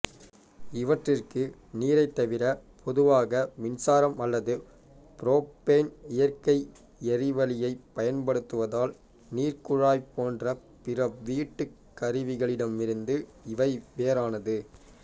இவற்றிற்கு நீரைத் தவிர பொதுவாக மின்சாரம் அல்லதுபுரொப்பேன் இயற்கை எரிவளியைப் பயன்படுத்துவதால் நீர்க்குழாய் போன்ற பிற வீட்டுக்கருவிகளிடமிருந்து இவை வேறானது